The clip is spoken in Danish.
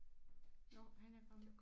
Jo han er kommet